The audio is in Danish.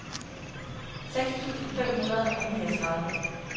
seks tusind fem hundrede og niogtredive